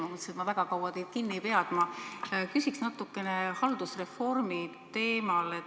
Ma mõtlesin, et ma väga kaua teid kinni ei pea, aga ma küsiksin natuke haldusreformi teemal.